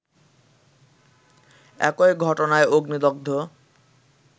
একই ঘটনায় অগ্নিদগ্ধ